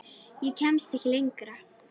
Ég kemst ekki lengra.